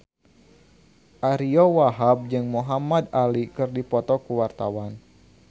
Ariyo Wahab jeung Muhamad Ali keur dipoto ku wartawan